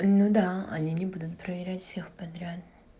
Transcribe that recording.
ну да они не будут проверять всех подряд